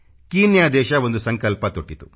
Kenya ಒಂದು ಸಂಕಲ್ಪ ತೊಟ್ಟಿತು